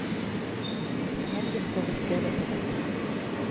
Til helgen får vi en prøve på dette.